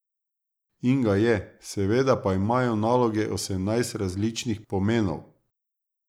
In ga je, seveda pa imajo naloge osemnajst različnih pomenov.